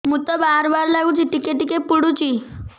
ମୁତ ବାର୍ ବାର୍ ଲାଗୁଚି ଟିକେ ଟିକେ ପୁଡୁଚି